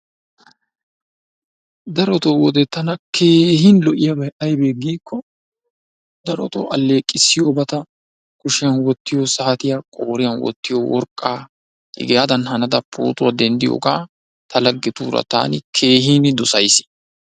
Darotoo wode tana keehin lo"iyaabay aybbe giiko darotoo alleeqissiyoobata, kushiyaan wottiyo saatiyaa, qooriyaan wottiyo worqqaa, hegaadan hanada pootuwaa denddiyooga ta laggetuura taani keehin dossays.